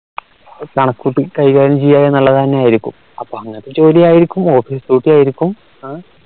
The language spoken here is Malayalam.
കണക്കുട്ടി കൈകാര്യം ചെയ്യുക എന്നുള്ളതന്നെയായിരിക്കും അപ്പോ അങ്ങനത്തെ ജോലി ആയിരിക്കും office duty ആയിരിക്കും